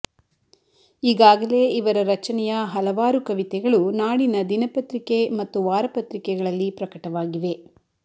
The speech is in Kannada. ಈಗಾಗಲೇ ಇವರ ರಚನೆಯ ಹಲವಾರು ಕವಿತೆಗಳು ನಾಡಿನ ದಿನಪತ್ರಿಕೆ ಮತ್ತು ವಾರ ಪತ್ರಿಕೆಗಳಲ್ಲಿ ಪ್ರಕಟವಾಗಿವೆ